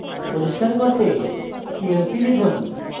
পরিস্কার করতে clc লিখুন